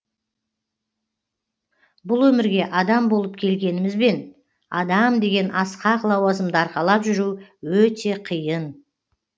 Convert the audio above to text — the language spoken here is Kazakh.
бұл өмірге адам болып келгенімізбен адам деген асқақ лауазымды арқалап жүру өте қиын